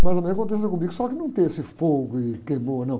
Mais ou menos aconteceu comigo, só que não tem esse fogo e queimou, não.